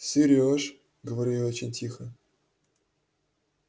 сереж говорю я очень тихо